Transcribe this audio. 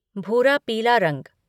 भूरा पीला रंग